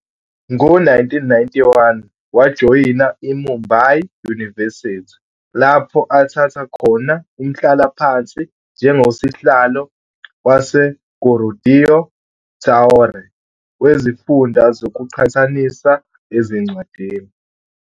Ngo-1991, wajoyina iMumbai University, lapho athatha khona umhlalaphansi njengoSihlalo waseGurudeo Tagore wezifundo zokuqhathanisa ezincwadini.